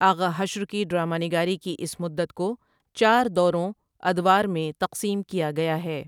آغا حشر کی ڈراما نگاری کی اِس مدت کو چار دوروں اَدوار میں تقسیم کیا گیا ہے ۔